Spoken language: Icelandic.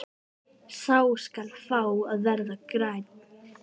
Sá skal fá að verða grænn!